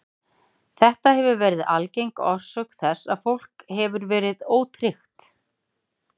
Þetta hefur verið algeng orsök þess að fólk hefur verið ótryggt.